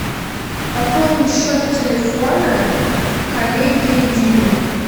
пополни счет телефона коллеги димы